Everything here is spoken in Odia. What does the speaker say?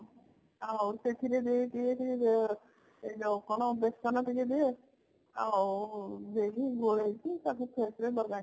ଆଉ ସେଥିରେ ଯୋଉ ଯୋଉ କଣ ବେସନ ଟିକେ ଦିଏ ଆଉ ଗୋଳେଇକି ଟାକୁ ସେଥିରେ ଲଗାଏ